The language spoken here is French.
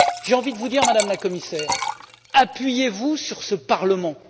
J'ai envie de vous dire, Madame la Commissaire, appuyez vous sur ce Parlement!